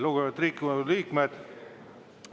Lugupeetud Riigikogu liikmed!